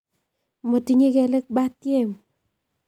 Motinye kelek batiem